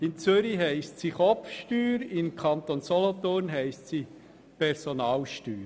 In Zürich heisst sie Kopfsteuer, im Kanton Solothurn Personalsteuer.